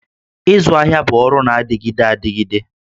Ịzụ ahịa bụ ọrụ na-adịgide adịgide